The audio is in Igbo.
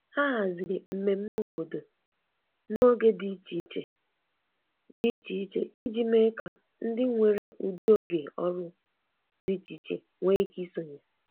Ha haziri mmemme obodo n’oge dị iche iche dị iche iche iji mee ka ndị nwere ụdị oge ọrụ dị iche iche nwee ike isonye.